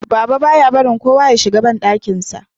Baba ba ya barin kowa Ya shiga banɗakin sa